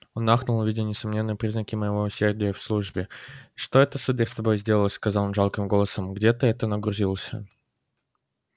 он ахнул увидя несомненные признаки моего усердия в службе что это сударь с тобою сделалось сказал он жалким голосом где ты это нагрузился